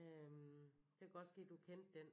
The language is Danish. Øh det kunne godt ske du kendte den